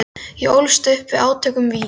Ég ólst upp við átök um vín.